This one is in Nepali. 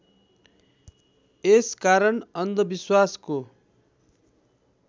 यस कारण अन्धविश्वासको